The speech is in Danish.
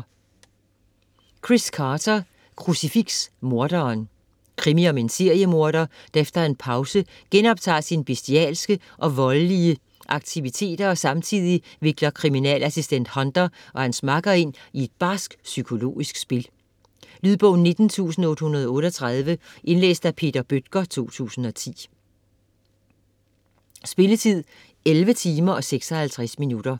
Carter, Chris: Krucifiks morderen Krimi om en seriemorder, der efter en pause genoptager sin bestialske og voldelige aktiviteter og samtidig vikler kriminalassistent Hunter og hans makker ind i et barskt psykologisk spil. Lydbog 19838 Indlæst af Peter Bøttger, 2010. Spilletid: 11 timer, 56 minutter.